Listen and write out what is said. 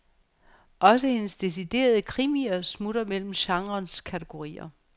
Også hendes deciderede krimier smutter mellem genrens kategorier.